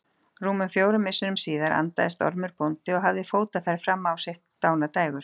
Rúmum fjórum misserum síðar andaðist Ormur bóndi og hafði fótaferð fram á sitt dánardægur.